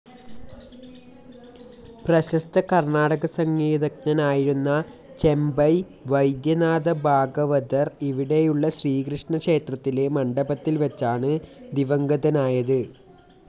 പ്രശസ്ത കർണ്ണാടക സംഗീതജ്ഞനായിരുന്ന ചെമ്പൈ വൈദ്യനാഥഭാഗവതർ ഇവിടെയുള്ള ശ്രീകൃഷ്ണ ക്ഷേത്രത്തിലെ മണ്ഡപത്തിൽ വെച്ചാണ് ദിവംഗതനായത്.